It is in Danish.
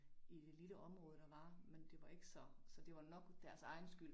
I det lille område der var, men det var ikke så så det var nok deres egen skyld